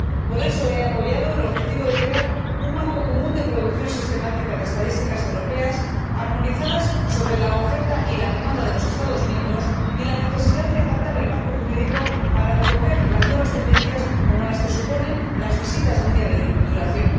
Por eso he apoyado el objetivo de crear un marco común de producción sistemática de estadísticas europeas armonizadas sobre la oferta y la demanda de los Estados miembros, y de adaptar, por ser necesario, el marco jurídico para recoger las nuevas tendencias, como las visitas de un día de duración.